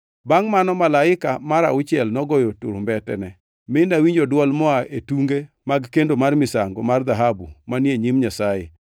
Bangʼ mano malaika mar auchiel nogoyo turumbetene, mi nawinjo dwol moa e tunge mag kendo mar misango mar dhahabu manie nyim Nyasaye.